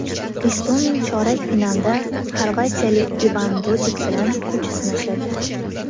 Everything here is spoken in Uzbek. Istomin chorak finalda xorvatiyalik Ivan Dodig bilan kuch sinashadi.